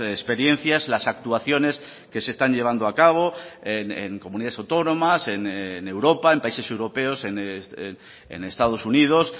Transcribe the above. experiencias las actuaciones que se están llevando a cabo en comunidades autónomas en europa en países europeos en estados unidos